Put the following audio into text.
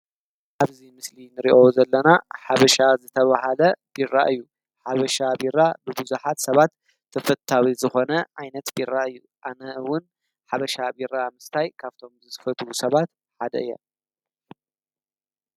አብዚ ምስሊ ንሪኦ ዘለና ሓበሻ ዝተበሃለ ቢራ እዩ። ሓበሻ ቢራ ብቡዙሓት ሰባት ተፈታዊ ዝኮነ ዓይነት ቢራ እዩ። ኣነ እውን ሓበሻ ቢራ ምስታይ ካብዞም ዝፈትው ሰባት ሓደ እየ።